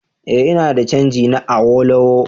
Eh ina da canji na Awolowo